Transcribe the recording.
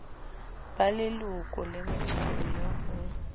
ba leloko le metswalle ho